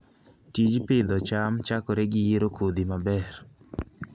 Tij pidho cham chakore gi yiero kodhi maber.